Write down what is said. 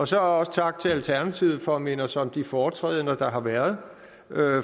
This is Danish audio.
så også tak til alternativet for at minde os om de foretrædender der har været